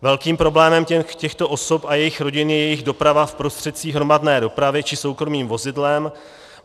Velkým problémem těchto osob a jejich rodin je jejich doprava v prostředcích hromadné dopravy či soukromým vozidlem.